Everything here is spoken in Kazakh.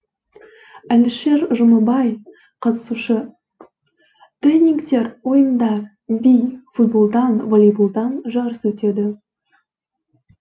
әлішер жұмабай қатысушы тренингтер ойындар би футболдан волейболдан жарыс өтеді